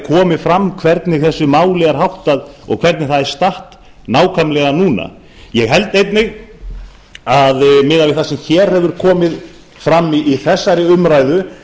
komi fram hvernig þessu máli er háttað og hvernig það er statt nákvæmlega núna ég held einnig miðað við það sem komið hefur fram í þessari umræðu